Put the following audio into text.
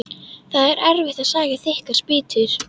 Það er erfitt að saga þykkar spýtur.